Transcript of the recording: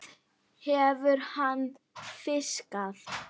Hvað hefur hann fiskað?